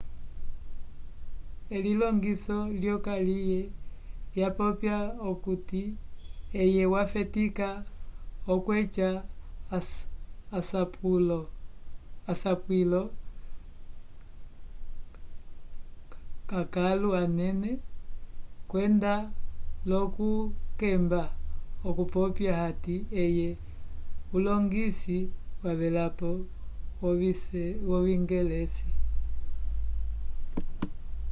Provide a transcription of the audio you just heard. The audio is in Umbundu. elilongiso lyokaliye wopopya okuti eye wafetika okweca asapwilo k'akãlu anene kwenda l'okukemba okupopya hati eye ulongisi wavelapo wocingelesi